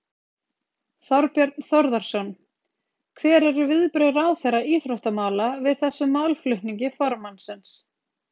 Þorbjörn Þórðarson: Hver eru viðbrögð ráðherra íþróttamála við þessum málflutningi formannsins?